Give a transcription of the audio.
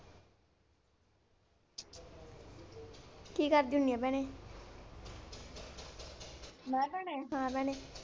ਕੀ ਕਰਦੀ ਹੁੰਨੀ ਆ ਭੈਣੇ ਮੈਂ ਭੈਣੇ, ਹਾਂ ਭੈਣੇ।